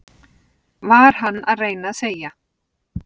Var hann að reyna að segja